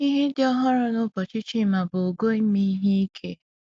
Ihe dị ọhụrụ nụbọchị Chima bụ ogo ime ihe ike.